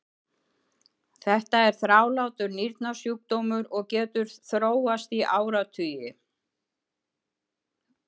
þetta er þrálátur nýrnasjúkdómur og getur þróast í áratugi